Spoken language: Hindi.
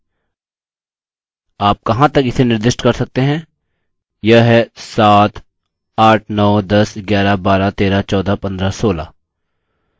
यह है 7 8 9 10 11 12 13 14 15 16